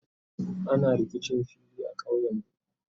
ana rikicin fili a ƙauyen. mu